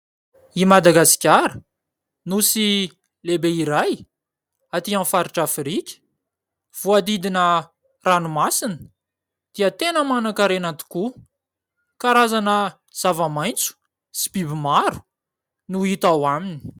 I Madagasikara, Nosy lehibe iray atỳ amin'ny faritra Afrika, voahodidina ranomasina dia tena manankarena tokoa. Karazana zava-maitso sy biby maro no hita ao Aminy.